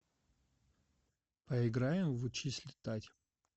поиграем в учись летать